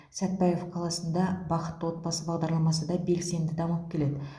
сәтпаев қаласында бақытты отбасы бағдарламасы да белсенді дамып келеді